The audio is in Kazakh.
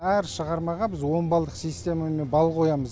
әр шығармаға біз он балдық системамен бал қоямыз